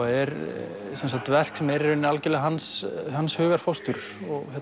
er verk sem er algjörlega hans hans hugarfóstur